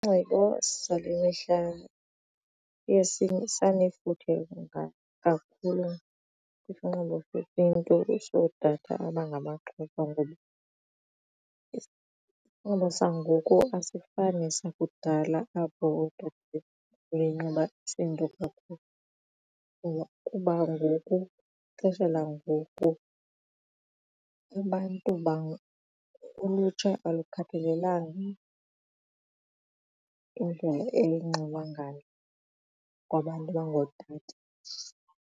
Isinxibo sale mihla siye sanefuthe kakhulu kwisinxibo sesiNtu sotata abangamaXhosa ngoba isinxibo sangoku asifani nesakudala apho ootata babenxiba isiNtu sangoko kuba ngoku xesha langoku abantu ulutsha alukhathalelanga indlela elinxiba ngalo abantu abangootata.